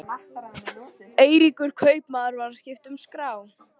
Eiríkur kaupmaður var að skipta um skrá.